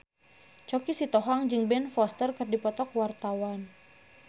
Choky Sitohang jeung Ben Foster keur dipoto ku wartawan